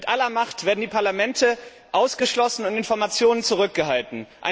Mit aller Macht werden die Parlamente ausgeschlossen und Informationen zurückgehalten.